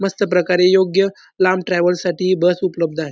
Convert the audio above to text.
मस्त प्रकारे योग्य लांब ट्रॅव्हल साठी बस उपलब्ध आहे.